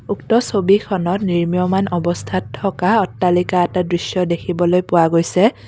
উক্ত ছবিখনত নিৰ্মমান অৱস্থাত থকা অট্টালিকা এটাৰ দৃশ্য দেখিবলৈ পোৱা গৈছে।